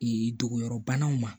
dogoyɔrɔbanaw ma